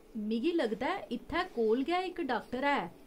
मिगी लगदा ऐ, इत्थै कोल गै इक डाक्टर है।